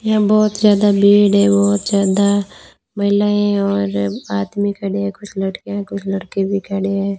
यहां बहुत ज्यादा भीड़ है बहुत ज्यादा महिलाएं और आदमी खड़े हैं कुछ लड़कियां कुछ लड़के भी खड़े हैं।